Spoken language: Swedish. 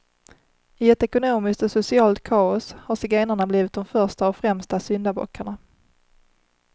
I ett ekonomiskt och socialt kaos har zigenarna blivit de första och främsta syndabockarna.